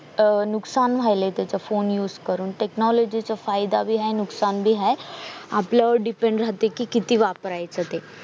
अह नुकसान व्यायले त्याच phone use करून technology चा फायदा भी हाय नुकसान भी हाय आपल्या वर depend राहते कि ते किती वापरायचे ते